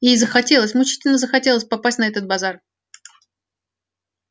ей захотелось мучительно захотелось попасть на этот базар